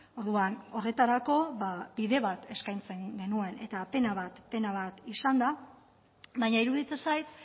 orduan horretarako bide bat eskaintzen genuen eta pena bat izan da baina iruditzen zait